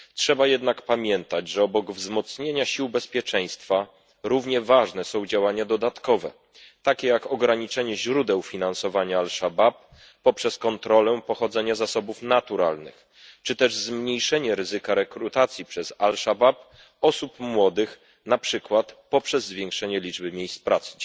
Trzeba jednak pamiętać, że obok wzmocnienia sił bezpieczeństwa równie ważne są działania dodatkowe, takie jak ograniczenie źródeł finansowania Asz Szabab poprzez kontrolę pochodzenia zasobów naturalnych czy też zmniejszenie ryzyka rekrutacji przez Asz Szabab osób młodych, na przykład poprzez zwiększenie liczby miejsc pracy.